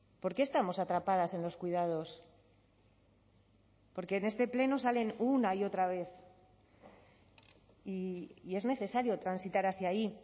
por qué estamos atrapadas en los cuidados porque en este pleno salen una y otra vez y es necesario transitar hacia ahí